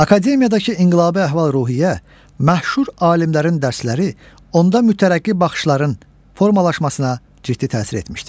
Akademiyadakı inqilabi əhval-ruhiyyə, məşhur alimlərin dərsləri onda mütərəqqi baxışların formalaşmasına ciddi təsir etmişdir.